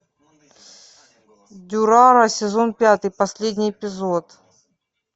дюрарара сезон пятый последний эпизод